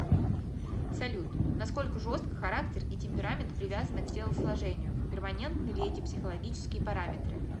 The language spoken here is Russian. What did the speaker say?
салют насколько жестко характер и темперамент привязаны к телосложению перманентны ли эти психологические параметры